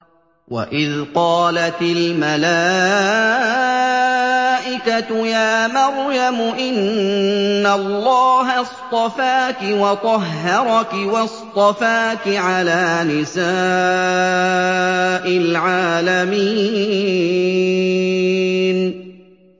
وَإِذْ قَالَتِ الْمَلَائِكَةُ يَا مَرْيَمُ إِنَّ اللَّهَ اصْطَفَاكِ وَطَهَّرَكِ وَاصْطَفَاكِ عَلَىٰ نِسَاءِ الْعَالَمِينَ